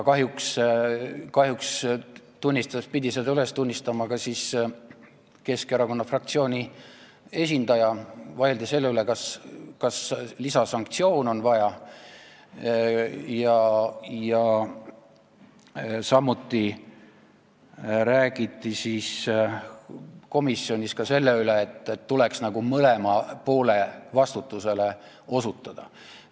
Kahjuks pidi seda tunnistama ka Keskerakonna fraktsiooni esindaja, et vaieldi selle üle, kas lisasanktsioone on vaja, samuti räägiti komisjonis selle üle, et tuleks nagu mõlema poole vastutusele osutada.